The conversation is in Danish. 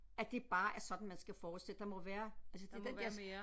At det bare er sådan man skal fortsætte der må være altså det er den der